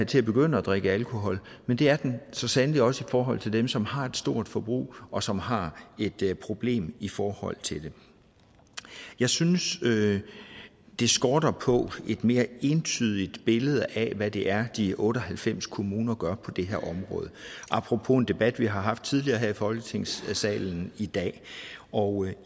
til at begynde at drikke alkohol men det er den så sandelig også i forhold til dem som har et stort forbrug og som har et problem i forhold til det jeg synes det skorter på et mere entydigt billede af hvad det er de otte og halvfems kommuner gør på det her område apropos en debat vi har haft tidligere i folketingssalen i dag og